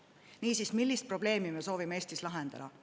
Niisiis, millist probleemi me soovime Eestis lahendada?